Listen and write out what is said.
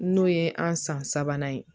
N'o ye an san sabanan ye